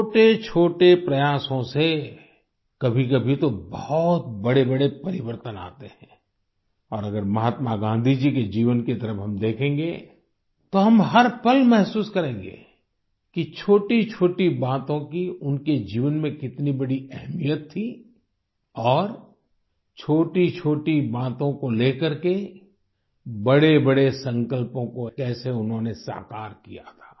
छोटेछोटे प्रयासों से कभी कभी तो बहुत बड़ेबड़े परिवर्तन आते हैं और अगर महात्मा गांधी जी के जीवन की तरफ हम देखेंगे तो हम हर पल महसूस करेंगे कि छोटीछोटी बातों की उनके जीवन में कितनी बड़ी अहमियत थी और छोटीछोटी बातों को ले करके बड़े बड़े संकल्पों को कैसे उन्होंने साकार किया था